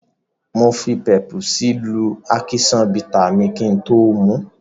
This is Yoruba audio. Mo fi pepusí lú ákíṣán bità mi kí n tó mu ú.